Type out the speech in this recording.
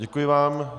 Děkuji vám.